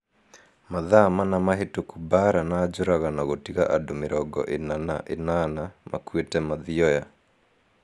Mathaa mana mahĩtũku Mbaara nĩ njũragano gũtiga andũ mĩrongo ina na inana makuĩte Mathioya